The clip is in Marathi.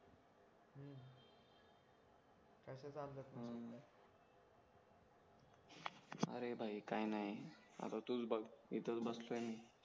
अरे भाई काय नाही आता तूच बघ इथेच बसलोय मी